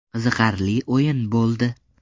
Qiziqarli o‘yin bo‘ldi.